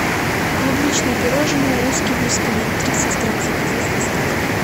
клубничное пирожное русский бисквит тридцать грамм заказать с доставкой